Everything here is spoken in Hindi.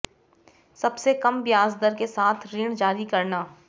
सबसे कम ब्याज दर के साथ ऋण जारी करना